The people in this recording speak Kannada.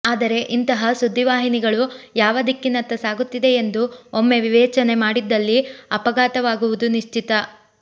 ಆದರೆ ಇಂತಹ ಸುದ್ದಿವಾಹಿನಿಗಳು ಯಾವ ದಿಕ್ಕಿನತ್ತ ಸಾಗುತ್ತಿದೆ ಎಂದು ಒಮ್ಮೆ ವಿವೇಚನೆ ಮಾಡಿದ್ದಲ್ಲಿ ಆಘಾತವಾಗುವುದು ನಿಶ್ಷಿತ